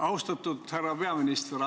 Austatud härra peaminister!